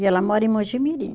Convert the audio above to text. E ela mora em Mogi Mirim.